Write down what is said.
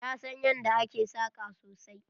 Ta san yanda ake saƙa sosai.